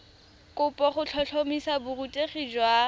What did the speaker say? kopo go tlhotlhomisa borutegi jwa